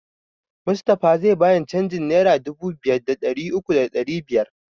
Mustapha zai bani canjin nera dubu biyu da ɗari uku da ɗari biyar